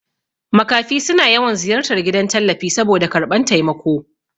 Makafi suna yawan ziyartar gidan tallafi saboda karɓan taimako